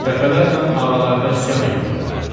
Dəfələrlə ağalarına üsyan eləyiblər.